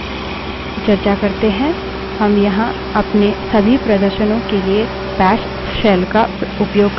फिर से सूची के बाहर आने के लिए आप क्यू q दबायें